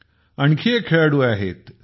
आणखी एक खेळाडू आहेत सी